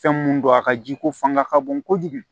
Fɛn mun don a ka ji ko fanga ka bon kojugu